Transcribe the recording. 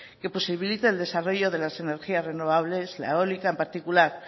que posibilite el desarrollo de las energía renovables la eólica en particular